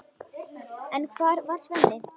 En hvar var Svenni?